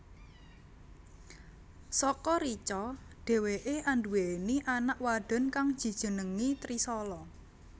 Saka Richa dheweké anduwèni anak wadon kang dijenengi Trishala